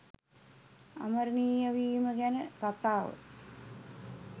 අමරණීය වීම ගැන කතාව